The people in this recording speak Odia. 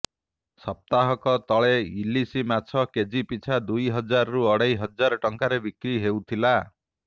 ସପ୍ତାହକ ତଳେ ଇଲିସି ମାଛ କେଜି ପିଛା ଦୁଇ ହଜାରରୁ ଅଢେଇ ହଜାର ଟଙ୍କାରେ ବିକ୍ରି ହେଉଥିଲା